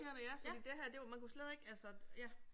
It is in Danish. Fordi det her det var man kunne slet ikke altså ja